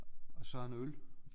Og så en øl